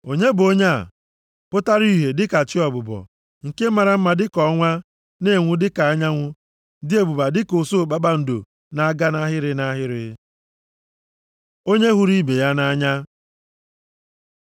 Onye bụ onye a, pụtara ihe dịka chi ọbụbọ, nke mara mma dịka ọnwa, na-enwu dịka anyanwụ, dị ebube ka dị usuu kpakpando na-aga nʼahịrị nʼahịrị? Onye hụrụ ibe ya nʼanya